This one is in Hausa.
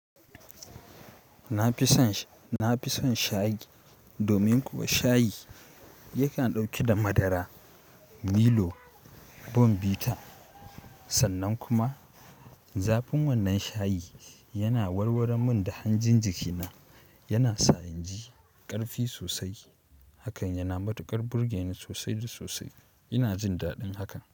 Na fi son, na fi son shayi domin kuwa shayi yakan ɗauki da madara, Milo, Bonvita. Sannan kuma zafin wannan shayi yana warwaran min da hanjin jikina. Yana sa inji ƙarfi sosai. Hakan yana matuƙar burge ni sosai da sosai. Ina jin daɗin hakan.